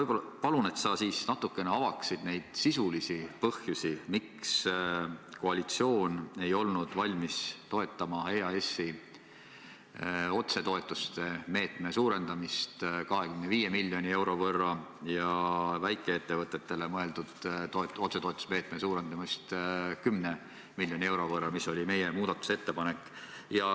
Aivar, palun ava natuke neid sisulisi põhjusi, miks koalitsioon ei olnud valmis toetama EAS-i otsetoetuste meetme suurendamist 25 miljoni euro võrra ja väikeettevõtetele mõeldud otsetoetuste meetme suurendamist 10 miljoni euro võrra – see oli meie muudatusettepanek.